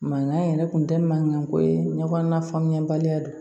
Mankan yɛrɛ kun tɛ mankanko ye ɲɔgɔn na faamuya baliya don